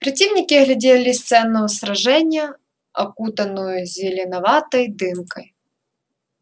противники оглядели сцену сражения окутанную зеленоватой дымкой